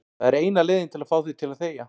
Það er eina leiðin til að fá þig til að þegja.